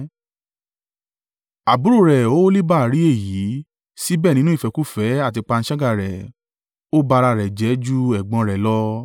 “Àbúrò rẹ̀ Oholiba rí èyí, síbẹ̀ nínú ìfẹ́kúfẹ̀ẹ́ àti panṣágà rẹ̀, Ó ba ara rẹ jẹ́ ju ẹ̀gbọ́n rẹ̀ lọ.